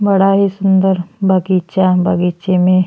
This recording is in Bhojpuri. बड़ा ही सुन्दर बगीचा बगीचे में --